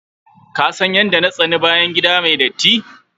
Ka san yadda na sani bayan gida mai datti.